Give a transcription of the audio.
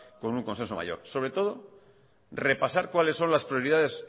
con un consenso mayor sobre todo repasar cuáles son las prioridades